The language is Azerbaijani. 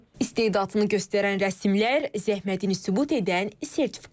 İstedadını göstərən rəsmlər, zəhmətini sübut edən sertifikatlar.